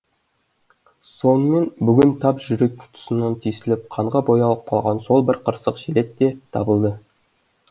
сонымен бүгін тап жүрек тұсынан тесіліп қанға боялып қалған сол бір қырсық желет те табылды